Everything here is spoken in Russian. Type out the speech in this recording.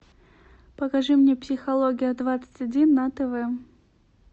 покажи мне психология двадцать один на тв